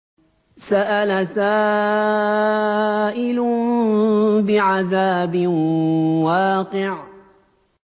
سَأَلَ سَائِلٌ بِعَذَابٍ وَاقِعٍ